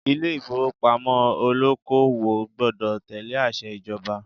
Ilé ìfowópamọ́ olóko-òwò gbọdọ̀ tẹ̀lé àṣẹ ìjọba